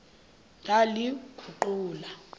ndaliguqula